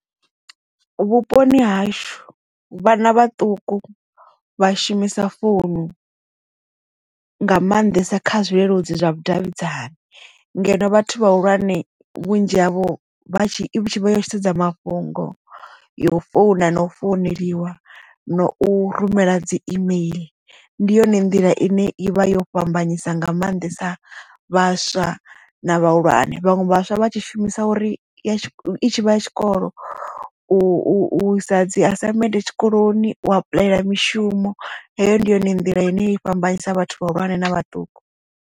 Vhuponi hashu vhana vhaṱuku vha shumisa founu nga maanḓesa kha zwileludzi zwa vhudavhidzani ngeno vhathu vhahulwane vhunzhi havho vha tshi i vha yo sedza mafhungo yo founa na u founeliwa na u rumela dzi email ndi yone nḓila ine ivha yo fhambanyisa nga maanḓesa vhaswa na vhahulwane vhaṅwe vhaswa vha tshi shumisa uri i ya tshikolo u isa dzi assignment tshikoloni u apuḽayela mishumo heyo ndi yone nḓila ine i fhambanyisa vhathu vhahulwane na vhaṱuku.